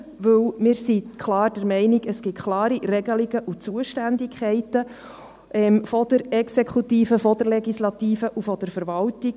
Denn wir sind klar der Meinung, dass es klare Regelungen und Zuständigkeiten gibt betreffend die Exekutive, die Legislative und die Verwaltung.